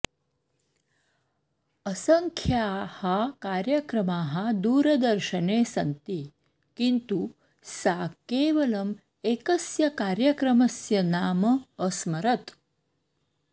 असंख्याः कार्यक्रमाः दूरदर्शने सन्ति किन्तु सा केवलम् एकस्य कार्यक्रमस्य नाम अस्मरत्